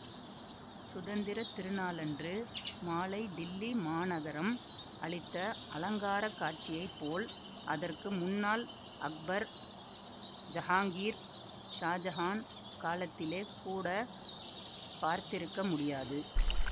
சுதந்திர திருநாளன்று மாலை டில்லி மாநகரம் அளித்த அலங்காரக் காட்சியை போல் அதற்கு முன்னால் அக்பர் ஜஹாங்கீர் ஷாஜஹான் காலத்திலே கூட பார்த்திருக்க முடியாது